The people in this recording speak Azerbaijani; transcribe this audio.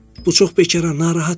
Bu çox bekara narahat işdi.